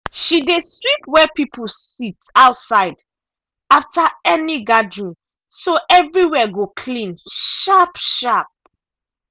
she dey sweep where people sit outside after any gathering so everywhere go clean sharp-sharp.